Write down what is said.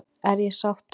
Er ég sáttur?